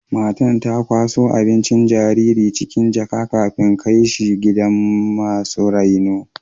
Matan ta kwaso abincin jaririn cikin jaka,, kafin kai shi gidan masu raino.